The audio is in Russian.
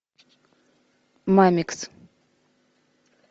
мамикс